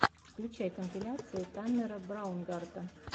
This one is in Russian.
включай компиляции таннера браунгарта